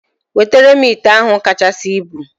Wetere m ite ahụ kachasị ibu!